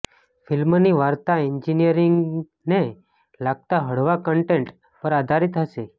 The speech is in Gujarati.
ફિલ્મની વાર્તા એન્જિનિયરિંગને લગતા હળવા કન્ટેન્ટ પર આધારિત હશે